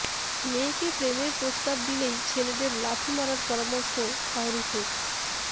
মেয়েকে প্রেমের প্রস্তাব দিলেই ছেলেদের লাথি মারার পরামর্শ শাহরুখের